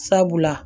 Sabula